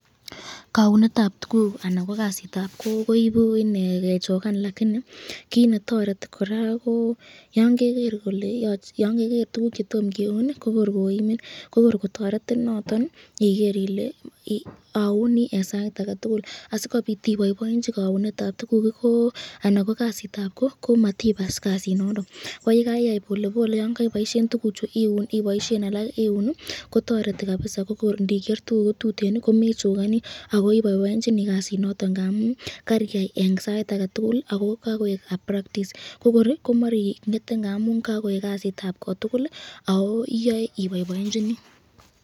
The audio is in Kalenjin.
Kaunetab tukuk anan ko kasitab Koo koibu kechokan lakini kit netoreti koraa ko yan keger tukuk chetomo kiuno kok